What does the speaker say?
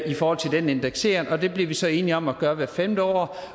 i forhold til den indeksering og det blev vi så enige om at gøre hvert femte år